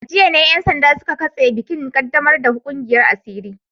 A jiya ne ‘yan sanda suka katse bikin kaddamar da kungiyar asiri